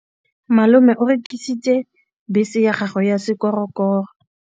Malome o rekisitse bese ya gagwe ya sekgorokgoro.